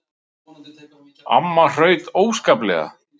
Amma hraut óskaplega.